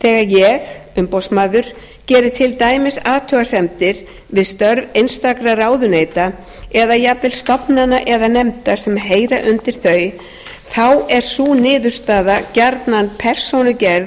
þegar ég umboðsmaður geri til dæmis athugasemdir við störf einstakra ráðuneyta eða jafnvel stofnana eða nefnda sem heyra undir þau þá er sú niðurstaða gjarnan persónugerð